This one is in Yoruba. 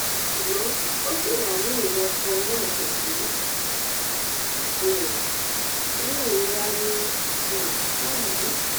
ṣùgbọn ó ṣì wà ní iwọn kan náà kò sì um ní ìrora ní um báyìí